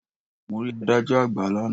Mo rí adájọ́ àgbà lánàá.